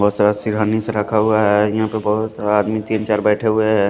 बहुत सारा सिरहानीस रखा हुआ है यहाँ पे बहुत सारा आदमी तीन चार बैठे हुए हैं।